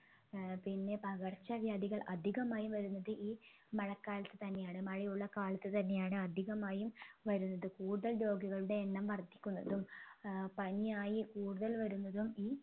ഏർ പിന്നെ പകർച്ചവ്യാധികൾ അധികമായി വരുന്നത് ഈ മഴക്കാലത്ത് തന്നെയാണ് മഴയുള്ള കാലത്ത് തന്നെയാണ് അധികമായും വരുന്നത് കൂടുതൽ രോഗികളുടെ എണ്ണം വർധിക്കുന്നതും ഏർ പനിയായി കൂടുതൽ വരുന്നതും ഈ